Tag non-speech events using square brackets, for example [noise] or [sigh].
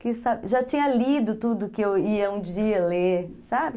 que [unintelligible] já tinha lido tudo que eu ia um dia ler, sabe?